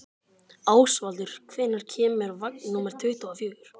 Ásvaldur, hvenær kemur vagn númer tuttugu og fjögur?